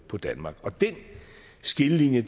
på danmark og den skillelinje